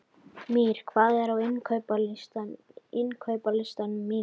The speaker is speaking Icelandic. Mír, hvað er á innkaupalistanum mínum?